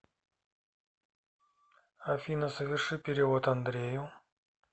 афина соверши перевод андрею